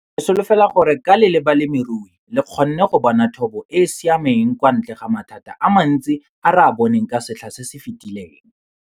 Ke solofela gore ka le le balemirui le kgonne go bona thobo e e siameng kwa ntle ga mathata a mantsi a re a boneng ka setlha se se fetileng.